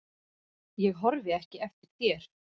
Ég horfi ekki eftir þér.